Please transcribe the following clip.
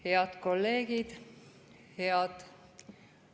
Head kolleegid!